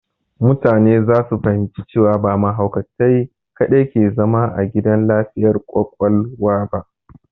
Mutane za su fahimci cewa ba mahaukatai kadai ke zama a gidan lafiyar ƙwaƙwalwa ba.